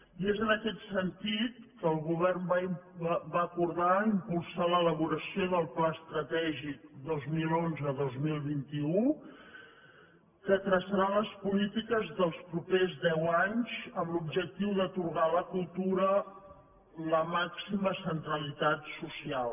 i és en aquest sentit que el govern va acordar impulsar l’elaboració del pla estratègic dos mil onze dos mil vint u que traçarà les polítiques dels propers deu anys amb l’objectiu d’atorgar a la cultura la màxima centralitat social